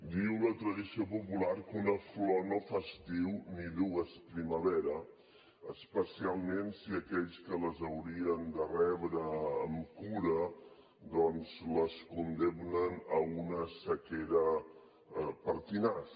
diu la tradició popular que una flor no fa estiu ni dues primavera especialment si aquells que les haurien de rebre amb cura doncs les condemnen a una sequera pertinaç